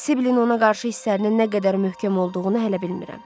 Sibilin ona qarşı hisslərinin nə qədər möhkəm olduğunu hələ bilmirəm.